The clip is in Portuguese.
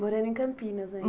Morando em Campinas aí?